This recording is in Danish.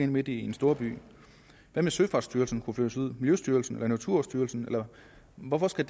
midt inde i storbyen hvad med søfartsstyrelsen miljøstyrelsen og naturstyrelsen hvorfor skal